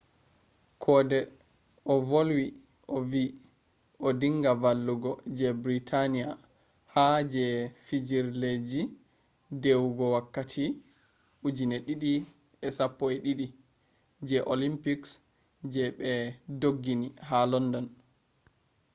kode ovolwi ovi odinga vallugo je britani’a ha je fijirleji dewugo wakkati 2012 je olympics je be dougini ha london